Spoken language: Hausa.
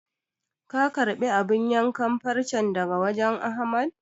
Ka karɓi abun yankan farcen daga wajen Ahmad?